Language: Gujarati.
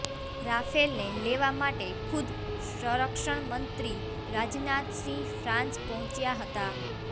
રાફેલને લેવા માટે ખુદ સંરક્ષણ મંત્રી રાજનાથ સિંહ ફ્રાંસ પહોંચ્યા હતાં